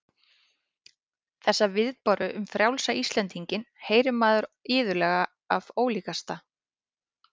Þessa viðbáru um frjálsa Íslendinginn heyrir maður iðulega og af ólíkasta